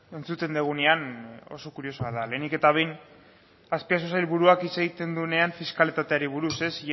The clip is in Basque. entzuten dugunean oso kuriosoa da lehenik eta behin azpiazu sailburuak hitz egiten duenean fiskalitateari buruz iaz